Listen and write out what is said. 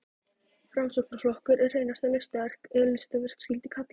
Framsóknarflokkurinn er hreinasta listaverk, ef listaverk skyldi kalla.